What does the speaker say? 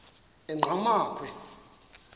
enqgamakhwe